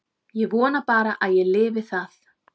Ég vona bara að ég lifi það.